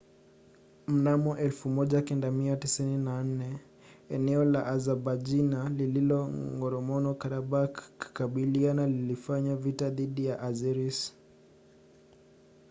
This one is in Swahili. mnamo 1994 eneo la azabaijan lililo la nagorno-karabakh kikabila lilifanya vita dhidi ya azeris